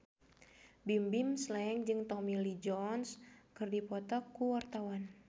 Bimbim Slank jeung Tommy Lee Jones keur dipoto ku wartawan